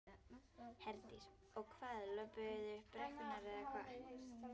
Herdís: Og hvað, löbbuðu þið upp brekkurnar eða hvað?